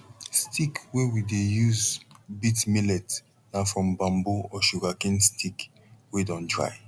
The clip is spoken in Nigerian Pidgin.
stick wey we dey use beat millet na from bamboo or sugar cane stick wey don dry